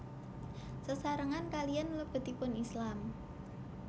Sesarengan kaliyan mlebetipun Islam